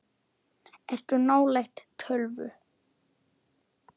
Ertu nálægt tölvu?